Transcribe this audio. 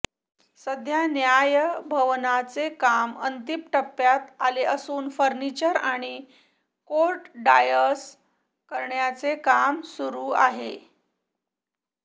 सध्या न्यायभवनाचे काम अंतीम टप्प्यात आले असून फर्निचर आणि कोर्ट डायस करण्याचे काम सुरू आहे